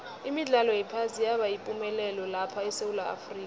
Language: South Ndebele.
imidlalo yephasi yaba yipumelelo lapha esewula afrika